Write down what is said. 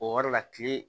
O yɔrɔ la kile